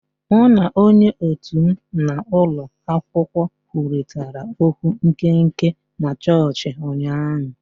Mụ na onye òtù m na ulo akwukwo kwurịtara okwu nkenke na chọọchị ụnyaahụ